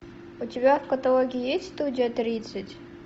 у тебя в каталоге есть студия тридцать